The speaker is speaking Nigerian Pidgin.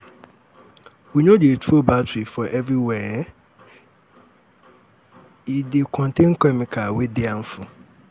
um we no dey throw battery for um everywhere e um dey contain chemical wey dey harmful